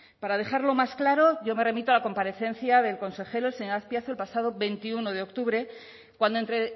para dejarlo más claro yo me remito a la comparecencia del consejero el señor azpiazu el pasado veintiuno de octubre cuando entre